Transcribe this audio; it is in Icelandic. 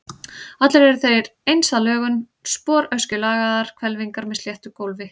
Allir eru þeir eins að lögun, sporöskjulagaðar hvelfingar með sléttu gólfi.